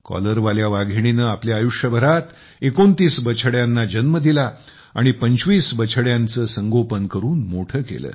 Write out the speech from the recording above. कॉलरवाल्या वाघिणीने आपल्या आयुष्यभरात 29 बछड्यांना जन्म दिला आणि पंचवीस बछड्यांचे संगोपन करून मोठे केले